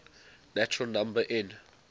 natural number n